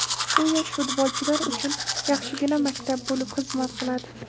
Bu yosh futbolchilar uchun yaxshigina maktab bo‘lib xizmat qiladi.